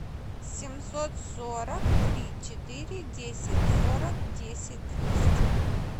семьсот сорок три четыре десять сорок десять двести